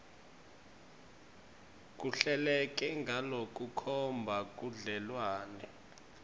kuhleleke ngalokukhomba budlelwane